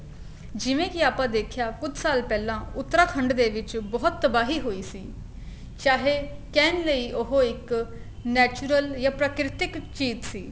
ਜਿਵੇਂ ਕੀ ਆਪਾਂ ਦੇਖਿਆ ਕੁੱਝ ਸਾਲ ਪਹਿਲਾਂ ਉਤਰਾਖੰਡ ਦੇ ਵਿੱਚ ਬਹੁਤ ਤਬਾਹੀ ਹੋਈ ਸੀ ਚਾਹੇ ਕਹਿਣ ਲਈ ਉਹ ਇੱਕ natural ਜਾਂ ਪ੍ਰਕਿਰਤਿਕ ਚੀਜ਼ ਸੀ